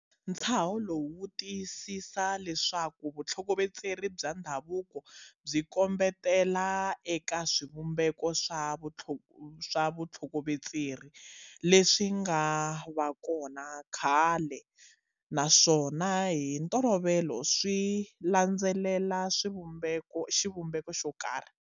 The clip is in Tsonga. Ntshaho lowu wu tiyisisa leswaku vutlhokovetseri bya ndhavuko byi kombetela eka swivumbeko swa vutlhokovetseri leswi nga va kona khale naswona hi ntolovelo swi landzelela xivumbeko xo karhi.